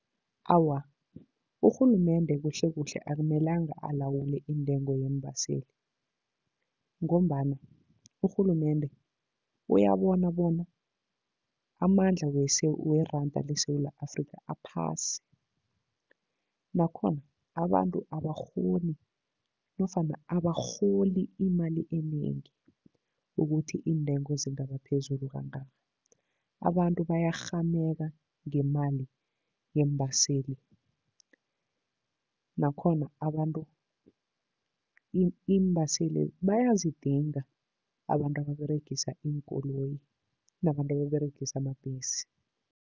Awa, urhulumende kuhlekuhle akumelanga alawule iintengo yeembaseli ngombana urhulumende uyabona bona amandla weranda leSewula Afrika aphasi, nakhona abantu abakghoni nofana abarholi imali enengi ukuthi iintengo zingabaphezulu kangaka. Abantu bayakghameka ngemali yeembaseli, nakhona abantu iimbaseli bayazidinga, abantu ababeregisa iinkoloyi nabantu ababeregisa amabhesi.